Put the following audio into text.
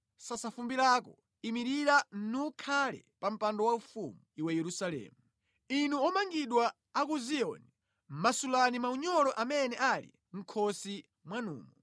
Sasa fumbi lako; imirira nukhale pa mpando waufumu, iwe Yerusalemu. Inu omangidwa a ku Ziyoni, masulani maunyolo amene ali mʼkhosi mwanumo.